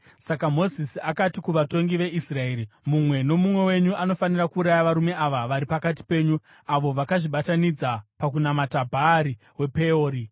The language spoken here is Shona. Saka Mozisi akati kuvatongi veIsraeri, “Mumwe nomumwe wenyu anofanira kuuraya varume ava vari pakati penyu, avo vakazvibatanidza pakunamata Bhaari wePeori.”